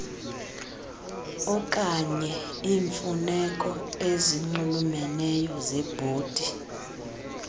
okanyeiimfuneko ezinxulumeneyo zebhodi